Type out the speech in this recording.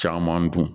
Caman dun